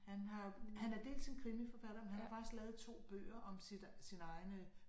Han har han er dels en krimiforfatter men han har faktisk lavet 2 bøger om sit sin egne øh